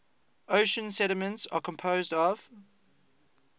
ocean sediments are composed of